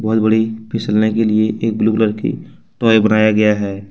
बहोत बड़ी फिसलने के लिए एक ब्लू कलर की टॉय बनाया गया है।